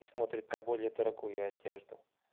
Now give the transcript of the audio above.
и смотрит на более дорогую одежду